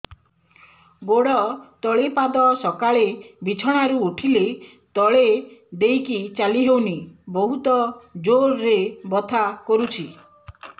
ଗୋଡ ତଳି ପାଦ ସକାଳେ ବିଛଣା ରୁ ଉଠିଲେ ତଳେ ଦେଇକି ଚାଲିହଉନି ବହୁତ ଜୋର ରେ ବଥା କରୁଛି